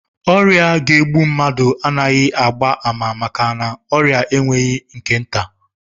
Ọrịa ga-egbu mmadụ anaghị agba ama maka na ọrịa enweghị nke nta